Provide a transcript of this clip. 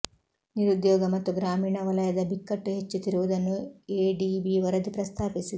ನಿರುದ್ಯೋಗ ಮತ್ತು ಗ್ರಾಮೀಣ ವಲಯದ ಬಿಕ್ಕಟ್ಟು ಹೆಚ್ಚುತ್ತಿರುವುದನ್ನು ಎಡಿಬಿ ವರದಿ ಪ್ರಸ್ತಾಪಿಸಿದೆ